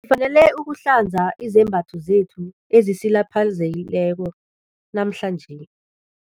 Ngifanele ukuhlanza izembatho zethu ezisilapheleko namhlanje.